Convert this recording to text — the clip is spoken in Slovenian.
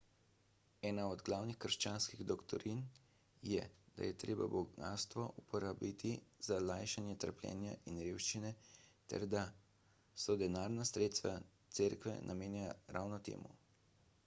ena od glavnih krščanskih doktrin je da je treba bogastvo uporabiti za lajšanje trpljenja in revščine ter da so denarna sredstva cerkve namenjena ravno temu